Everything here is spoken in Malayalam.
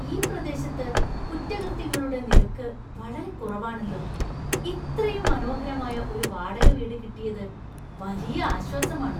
ഈ പ്രദേശത്ത് കുറ്റകൃത്യങ്ങളുടെ നിരക്ക് വളരെ കുറവാണല്ലോ! ഇത്രയും മനോഹരമായ ഒരു വാടക വീട് കിട്ടിയത് വലിയ ആശ്വാസമാണ്.